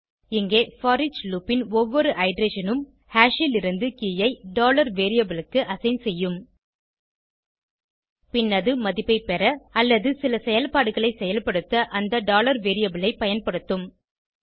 இங்கே foreach loop ன் ஒவ்வொரு இட்டரேஷன் னும் ஹாஷ் லிருந்து கே ஐ variable க்கு அசைன் செய்யும் பின் அது மதிப்பை பெற அல்லது சில செயல்பாடுகளை செயல்படுத்த அந்த variable ஐ பயன்படுத்தும்